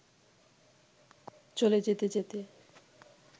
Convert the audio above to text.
চলে যেতে যেতে